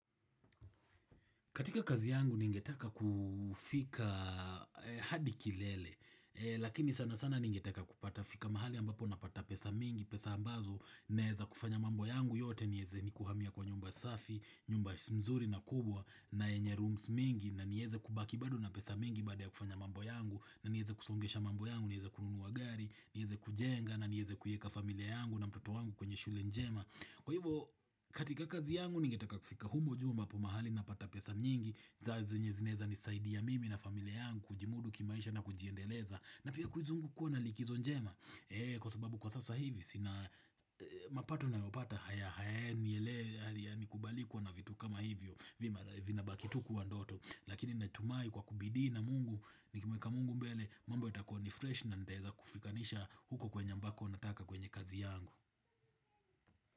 Katika kazi yangu ningetaka kufika hadi kilele, lakini sana sana ningetaka kupata fika mahali ambapo na pata pesa mingi, pesa ambazo naweza kufanya mambo yangu yote niweze ni kuhamia kwa nyumba safi, nyumba mzuri na kubwa na yenye rooms mingi na nieze kubaki bado na pesa mingi baada ya kufanya mambo yangu na nieze kusongesha mambo yangu, nieze kununuwa gari, nieze kujenga na nieze kuieka familia yangu na mtoto wangu kwenye shule njema. Kwa hivyo katika kazi yangu ningetaka kufika humo juu mbapo mahali na pata pesa nyingi za zenye zinaweza nisaidi ya mimi na familia yangu kujimudu kimaisha na kujiendeleza na pia kuzungukwa na likizo njema Kwa sababu kwa sasa hivi sina mapato ninayopata haya hayae niyelea ni kubalii kuwa na vitu kama hivyo v ina bakitu kuwa ndoto lakini natumai kwa kubidi na mungu nikimweka mungu mbele mambo yatakuwa ni fresh na niteza kufikanisha huko kwenye ambako nataka kwenye kazi yangu.